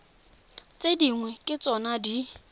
tse dingwe ke tsona di